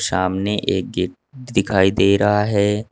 सामने एक गेट दिखाई दे रहा है।